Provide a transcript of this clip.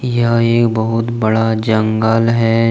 यहाँ एक बहोत बड़ा जंगल है।